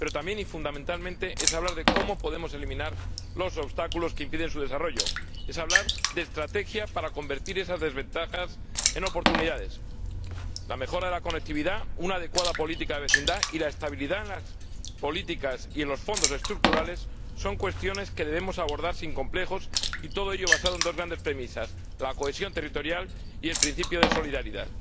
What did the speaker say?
Pero también, y fundamentalmente, es hablar de cómo podemos eliminar los obstáculos que impiden su desarrollo, es hablar de estrategia para convertir esas desventajas en oportunidades. La mejora de la conectividad, una adecuada política de vecindad y la estabilidad en las políticas y en los Fondos Estructurales son cuestiones que debemos abordar sin complejos, y todo ello sobre la base de dos grandes premisas la cohesión territorial y el principio de solidaridad.